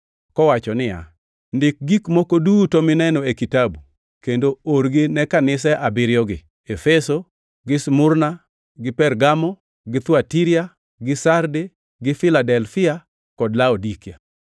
Kowacho niya, “Ndik gik moko duto mineno e kitabu kendo orgi ne kanise abiriyogi: Efeso, gi Smurna, gi Pergamo, gi Thuatira, gi Sarde gi Filadelfia kod Laodikia.”